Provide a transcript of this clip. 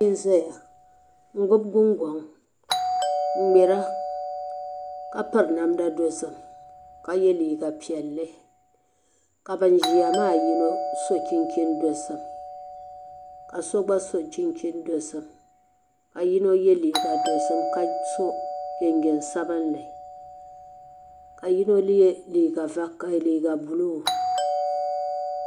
niriba anu laasabu bihi be bɛ puuni bɛ gbubi fulaawasi bɛ niŋ nusuriti bɛ nuhi ni bɛ mali zabiri bɛ zuɣiri ni ka di zoo-zooi